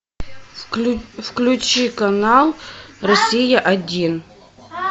включи канал россия один